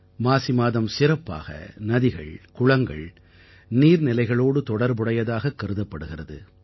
மாசி மாதம் சிறப்பாக நதிகள் குளங்கள் நீர்நிலைகளோடு தொடர்புடையதாகக் கருதப்படுகிறது